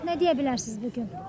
Bax nə deyə bilərsiz bu gün?